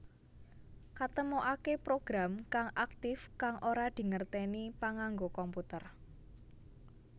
Katemokaké program kang aktif kang ora dingertèni panganggo komputer